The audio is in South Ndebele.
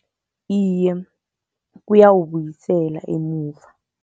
Iye, kuyawubuyisela emuva.